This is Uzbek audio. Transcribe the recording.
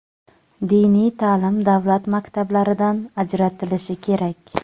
diniy ta’lim davlat maktablaridan ajratilishi kerak.